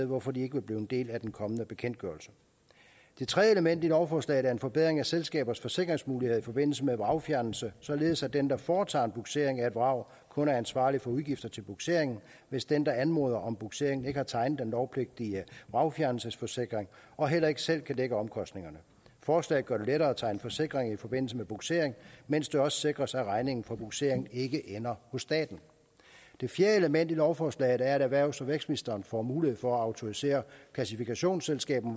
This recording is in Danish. hvorfor de ikke vil blive en del af den kommende bekendtgørelse det tredje element i lovforslaget er en forbedring af selskabers forsikringsmuligheder i forbindelse med vragfjernelse således at den der foretager bugsering af et vrag kun er ansvarlig for udgifterne til bugsering hvis den der anmoder om bugsering ikke har tegnet den lovpligtige vragfjernelsesforsikring og heller ikke selv kan dække omkostningerne forslaget gør det lettere at tegne forsikring i forbindelse med bugsering mens det også sikres at regningen for bugseringen ikke ender hos staten det fjerde element i lovforslaget er at erhvervs og vækstministeren får mulighed for at autorisere klassifikationsselskaber